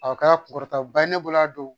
A kɛra kunkɔrɔtaba ye ne bolo a don